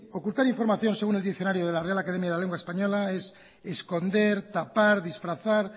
ocultar información según el diccionario de la real academia de la lengua española es esconder tapar disfrazar